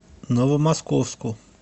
новомосковску